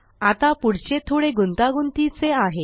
आता पुढचे थोडे गुंतागुंतीचे आहे